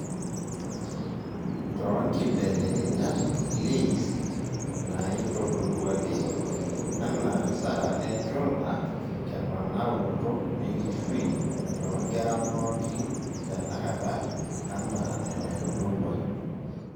Too nkibelekenyat e LAYS naiitodoluaki anaaahasara enchula temanaroto enkishui toonkera pooikin tenakata anaa enaitodolua